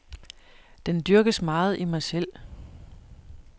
Den dyrkes meget i mig selv.